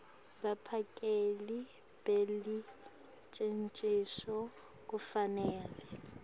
baphakeli belucecesho kufanele